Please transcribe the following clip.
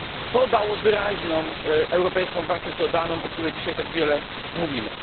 To dało wyraźną europejską wartość dodaną, o której dzisiaj tak wiele mówimy.